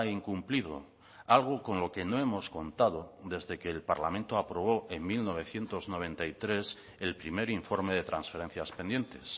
incumplido algo con lo que no hemos contado desde que el parlamento aprobó en mil novecientos noventa y tres el primer informe de transferencias pendientes